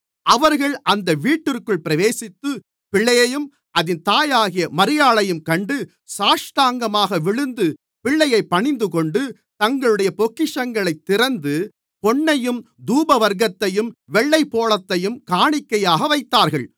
அவர்கள் அந்த வீட்டிற்குள் பிரவேசித்து பிள்ளையையும் அதின் தாயாகிய மரியாளையும் கண்டு சாஷ்டாங்கமாக விழுந்து பிள்ளையைப் பணிந்துகொண்டு தங்களுடைய பொக்கிஷங்களைத் திறந்து பொன்னையும் தூபவர்க்கத்தையும் வெள்ளைப்போளத்தையும் காணிக்கையாக வைத்தார்கள்